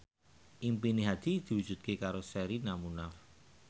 impine Hadi diwujudke karo Sherina Munaf